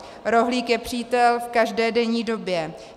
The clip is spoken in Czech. Rohlík je přítel v každé denní době.